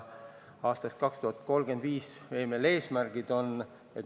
Aastaks 2035 on meil ju eesmärgid seatud.